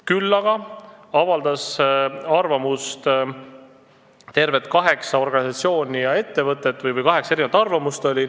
Küll aga avaldas arvamust tervelt kaheksa organisatsiooni ja ettevõtet, õigemini oli kaheksa erinevat arvamust.